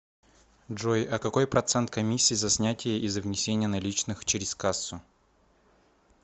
джой а какой процент комиссии за снятие и за внесение наличных через кассу